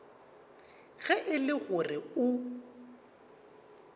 ge e le gore o